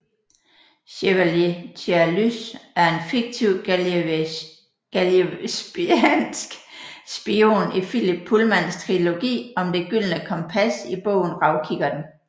Chevalier Tialys er en fiktiv gallivespiansk spion i Philip Pullmans trilogi om Det gyldne kompas i bogen Ravkikkerten